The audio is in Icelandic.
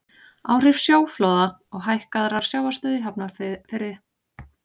áhrif sjóflóða og hækkaðrar sjávarstöðu í hafnarfirði